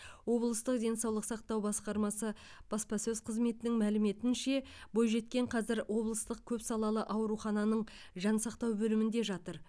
облыстық денсаулық сақтау басқармасы баспасөз қызметінің мәліметінше бойжеткен қазір облыстық көпсалалы аурухананың жансақтау бөлімінде жатыр